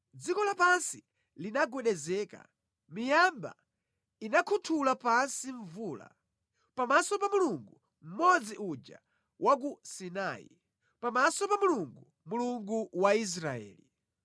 dziko lapansi linagwedezeka, miyamba inakhuthula pansi mvula, pamaso pa Mulungu, Mmodzi uja wa ku Sinai. Pamaso pa Mulungu, Mulungu wa Israeli.